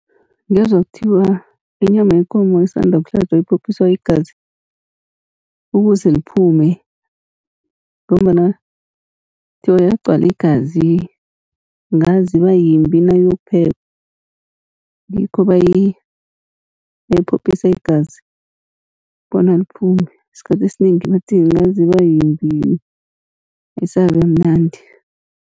Ngezwa kuthiwa inyama yekomo esanda ukuhlatjwa iphophiswa igazi ukuze liphume, ngombana kuthiwa yagcwala igazi angazi iba yimbi nayiyokuphekwa. Ngikho bayiphophisa igazi bona liphume, isikhathi esinengi bathi angazi iba yimbi ayisabi mnandi.